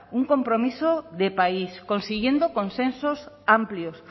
un compromiso de país consiguiendo consensos amplios